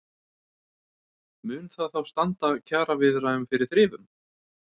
Mun það þá standa kjaraviðræðum fyrir þrifum?